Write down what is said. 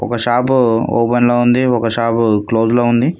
ఒక shop open లో ఉంది ఒక షాపు క్లోజ్ లో ఉంది.